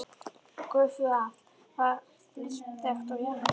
Gufuafl var lítt þekkt og James